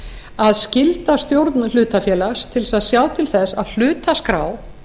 að skylda stjórn hlutafélags til að sjá til þess að hlutaskrá